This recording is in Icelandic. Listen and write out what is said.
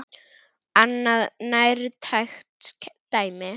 Annað nærtækt dæmi.